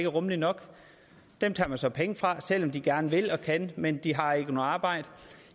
rummeligt nok dem tager man så penge fra selv om de gerne vil og kan men de har ikke noget arbejde